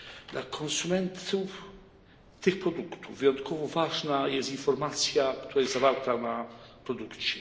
Dla konsumentów tych produktów wyjątkowo ważna jest informacja, która jest zawarta na produkcie.